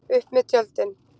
Upp með tjöldin!